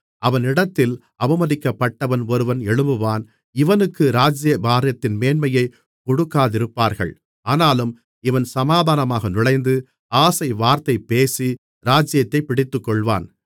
அவன் இடத்தில் அவமதிக்கப்பட்டவன் ஒருவன் எழும்புவான் இவனுக்கு ராஜ்ஜியபாரத்தின் மேன்மையைக் கொடுக்காதிருப்பார்கள் ஆனாலும் இவன் சமாதானமாக நுழைந்து ஆசைவார்த்தை பேசி ராஜ்ஜியத்தைப் பிடித்துக்கொள்வான்